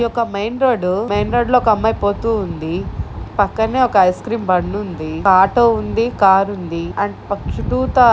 ఒక main road main road లో ఒకమ్మాయి పోతూ ఉంది. పక్కనే ఒక ఐస్ క్రీమ్ బండుంది. ఒక ఆటో ఉంది. కారుంది అండ్--